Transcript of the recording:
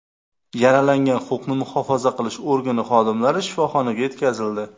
Yaralangan huquqni muhofaza qilish organi xodimlari shifoxonaga yetkazildi.